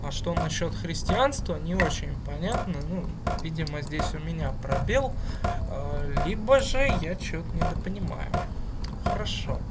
а что насчёт христианство не очень понятно ну видимо здесь у меня пробел либо же я что-то недопонимаю хорошо